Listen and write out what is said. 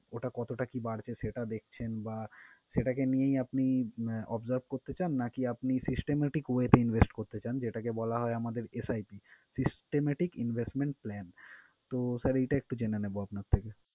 ওটা কতটা কি বাড়ছে সেটা দেখছেন বা সেটাকে নিয়েই আপনি আহ observe করতে চান? নাকি আপনি systematic way তে invest করতে চান, যেটাকে বলা হয় আমাদের SIPSystematic Investment Plan? তো Sir, এটা একটু যেনে নেবো আপনার থেকে।